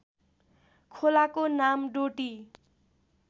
खोलाको नाम डोटी